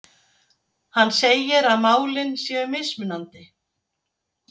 Hann segir að málin séu mismunandi